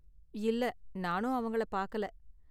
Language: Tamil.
இல்ல, நானும் அவங்கள பாக்கல.